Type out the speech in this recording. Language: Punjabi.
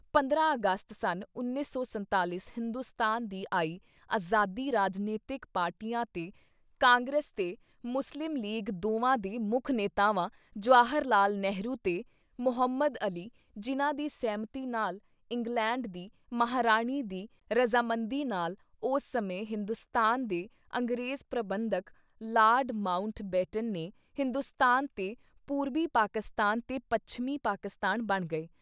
ਪੰਦਰਾਂ ਅਗਸਤ ਸਨ 1947 ਹਿੰਦੁਸਤਾਨ ਦੀ ਆਈ ਆਜ਼ਾਦੀ ਰਾਜਨੀਤਿਕ ਪਾਰਟੀਆਂ ਤੇ ਕਾਂਗਰਸ ਤੇ ਮੁਸਲਿਮ ਲੀਗ ਦੋਵਾਂ ਦੇ ਮੁੱਖ ਨੇਤਾਵਾਂ ਜਵਾਹਰ ਲਾਲ ਨਹਿਰੂ ਤੇ ਮਹੰਮਦ ਅਲੀ ਜਿੰਨ੍ਹਾ ਦੀ ਸਹਿਮਤੀ ਨਾਲ ਇੰਗਲੈਂਡ ਦੀ ਮਹਾਰਾਣੀ ਦੀ ਰਜ਼ਾਮੰਦੀ ਨਾਲ ਉਸ ਸਮੇਂ ਹਿੰਦੁਸਤਾਨ ਦੇ ਅੰਗਰੇਜ਼ ਪ੍ਰਬੰਧਕ ਲਾਰਡ ਮਾਊਂਟ ਬੇਟਨ ਨੇ ਹਿੰਦੁਸਤਾਨ ਤੇ ਪੂਰਬੀ ਪਾਕਿਸਤਾਨ ਤੇ ਪੱਛਮੀ ਪਾਕਿਸਤਾਨ ਬਣ ਗਏ।